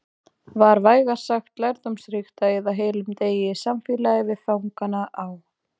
Var vægast sagt lærdómsríkt að eyða heilum degi í samfélagi við fangana á